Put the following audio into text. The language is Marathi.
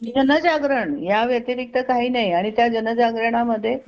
जनजागरण या व्यतिरिक्त काही नाही आणि त्या जनजागरण मध्ये